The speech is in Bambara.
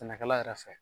Sɛnɛkɛla yɛrɛ fɛ